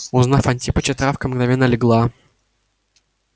узнав антипыча травка мгновенно легла